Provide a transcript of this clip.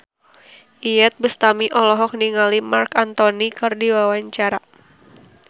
Iyeth Bustami olohok ningali Marc Anthony keur diwawancara